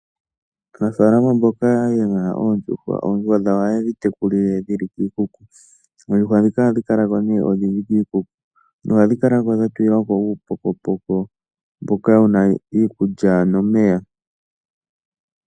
Aanafalama mboka ye na oondjuhwa, oondjuhwa dhawo ohaye dhi tekulile dhi li kiikuku. Oondjuhwa ndhika ohadhi kala ko nee odhindji kiikuku nohadhi kala ko dha tulilwa ko uupokopoko mboka wu na iikulya nomeya.